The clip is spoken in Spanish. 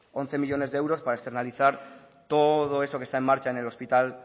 once millónes de euros para externalizar todo eso que está en marcha en el hospital